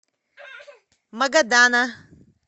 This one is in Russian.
магадана